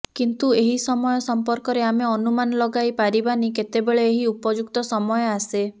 କିନ୍ତୁ ଏହି ସମୟ ସମ୍ପର୍କରେ ଆମେ ଅନୁମାନ ଲଗାଇ ପାରିବାନି କେତେବେଳେ ଏହି ଉପଯୁକ୍ତ ସମୟ ଆସେ